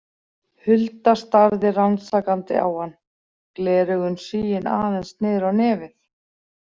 Hulda starði rannsakandi á hann, gleraugun sigin aðeins niður á nefið.